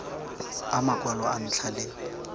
a makwalo a ntlha le